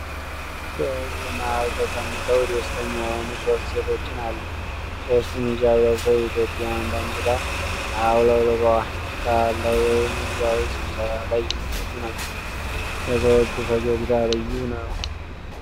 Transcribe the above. በሕዝብ መሀል ተቀምጠው ደስተኛ የሆኑ ሶስት ሴቶችን አሉ:: ሦስቱም ሒጃብ ለብሰው የኢትዮጵያን ባንዲራ አውለብልበዋል:: በዓል ላይ ወይም ሕዝባዊ ስብሰባ ላይ የሚገኙ ናቸው:: የሰዎቹ ፈገግታ ልዩ ነው!